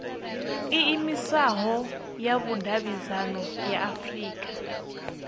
iimisaho ya vhudavhidzano ya afurika